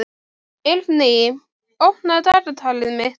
Eirný, opnaðu dagatalið mitt.